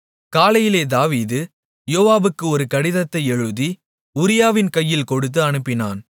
காலையில் தாவீது யோவாபுக்கு ஒரு கடிதத்தை எழுதி உரியாவின் கையில் கொடுத்து அனுப்பினான்